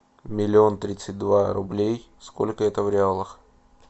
миллион тридцать два рублей сколько это в реалах